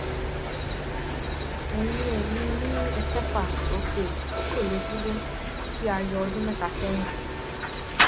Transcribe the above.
eyín eyín mi ẹkẹfà òkè tí kò lè dúró tí a yọ ọdún mẹta sẹyìn